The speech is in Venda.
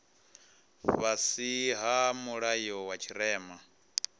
fhasi ha mulayo wa tshirema